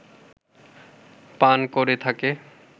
পান করে থাকে